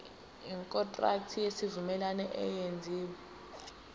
ikontraki yesivumelwano eyenziwe